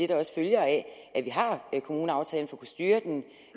der også følger af at vi har kommuneaftalen at kunne styre den